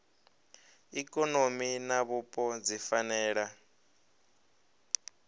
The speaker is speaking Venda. ikonomi na vhupo dzi fanela